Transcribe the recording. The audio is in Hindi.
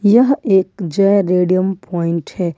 यह एक जय रेडियम पॉइंट है।